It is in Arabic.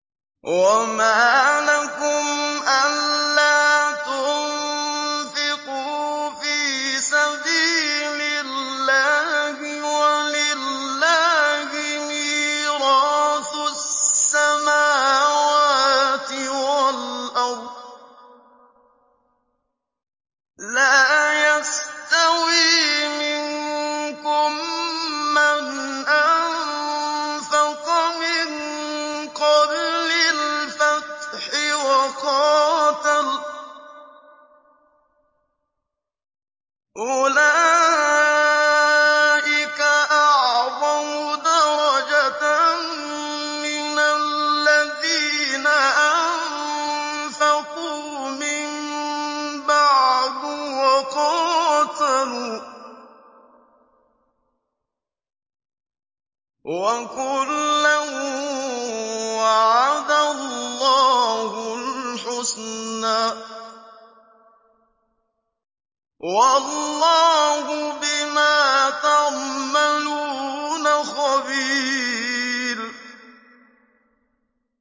وَمَا لَكُمْ أَلَّا تُنفِقُوا فِي سَبِيلِ اللَّهِ وَلِلَّهِ مِيرَاثُ السَّمَاوَاتِ وَالْأَرْضِ ۚ لَا يَسْتَوِي مِنكُم مَّنْ أَنفَقَ مِن قَبْلِ الْفَتْحِ وَقَاتَلَ ۚ أُولَٰئِكَ أَعْظَمُ دَرَجَةً مِّنَ الَّذِينَ أَنفَقُوا مِن بَعْدُ وَقَاتَلُوا ۚ وَكُلًّا وَعَدَ اللَّهُ الْحُسْنَىٰ ۚ وَاللَّهُ بِمَا تَعْمَلُونَ خَبِيرٌ